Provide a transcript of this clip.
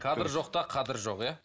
кадр жоқта қадір жоқ иә